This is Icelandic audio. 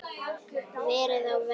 Verið á verði.